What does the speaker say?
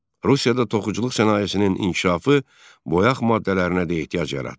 Rusiyada toxuculuq sənayesinin inkişafı boyaq maddələrinə də ehtiyac yaratdı.